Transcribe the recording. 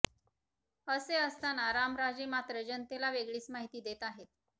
असे असताना रामराजे मात्र जनतेला वेगळीच माहिती देत आहेत